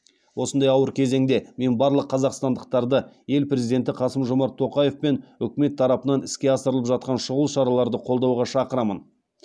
осындай ауыр кезеңде мен барлық қазақстандықтарды ел президенті қасым жомарт тоқаев пен үкімет тарапынан іске асырылып жатқан шұғыл шараларды қолдауға шақырамын